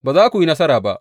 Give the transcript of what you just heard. Ba za ku yi nasara ba.